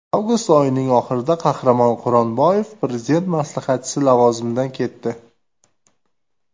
Avgust oyining oxirida Qahramon Quronboyev Prezident maslahatchisi lavozimidan ketdi .